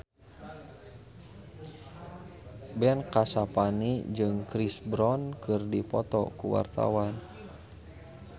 Ben Kasyafani jeung Chris Brown keur dipoto ku wartawan